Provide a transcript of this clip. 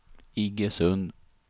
Iggesund